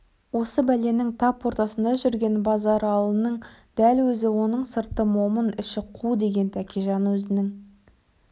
осы бәленің тап ортасында жүрген базаралының дәл өзі оның сырты момын іші қу деген тәкежан өзінің